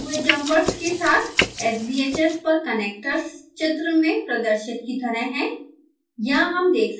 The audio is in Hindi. दोनों हटे हुए जम्पर्स के साथ sbhs पर कनेक्टर्स चित्र में प्रदर्शित की तरह हैं